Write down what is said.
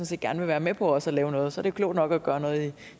set gerne vil være med på også at lave noget og så jo klogt nok at gøre noget